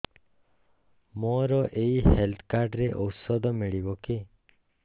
ମୋର ଏଇ health card ରେ ଔଷଧ ମିଳିବ କି